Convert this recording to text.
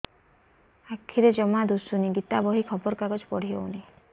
ଆଖିରେ ଜମା ଦୁଶୁନି ଗୀତା ବହି ଖବର କାଗଜ ପଢି ହଉନି